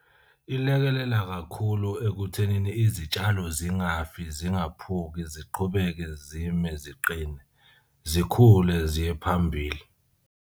Ilekelela kakhulu ekuthenini izitshalo zingafi zingaphuki ziqhubeke zime ziqine zikhule ziye phambili.